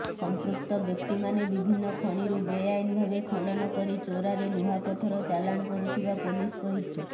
ସଂପୃକ୍ତ ବ୍ୟକ୍ତିମାନେ ବିଭିନ୍ନ ଖଣିରୁ ବେଆଇନ ଭାବେ ଖନନ କରି ଚୋରାରେ ଲୁହାପଥର ଚାଲାଣ କରୁଥିବା ପୋଲିସ କହିଛି